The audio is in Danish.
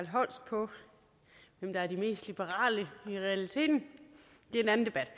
holst på hvem der er de mest liberale i realiteten det er en anden debat